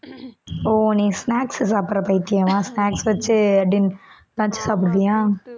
ஓ நீ snacks சாப்பிடுற பைத்தியமா snacks வச்சு din~ lunch சாப்பிடுவியா